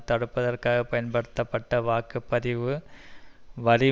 தடுப்பதற்காக பயன்படுத்தப்பட்ட வாக்கு பதிவு வரி